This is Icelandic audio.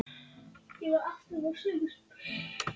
Honum fannst hún oft hugsa eins og fullorðin manneskja.